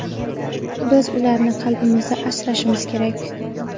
biz ularni qalbimizda asrashimiz kerak.